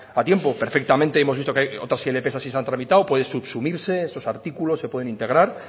a tiempos perfectamente hemos visto que hay otras ilp que así se han tramitado puede subsumirse esos artículos se pueden integrar